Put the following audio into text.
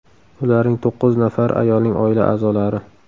Ularning to‘qqiz nafari ayolning oila a’zolari .